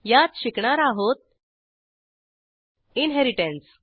यात शिकणार आहोत इनहेरिटन्स